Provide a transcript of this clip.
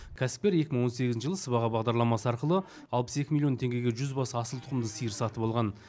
кәсіпкер екі мың он сегізінші жылы сыбаға бағдарламасы арқылы алпыс екі миллион теңгеге жүз бас асылтұқымды сиыр сатып алған